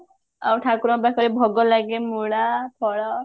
ଆଉ ଠାକୁରଙ୍କ ପାଖରେ ଭୋଗ ଲାଗେ ମୂଳା ଫଳ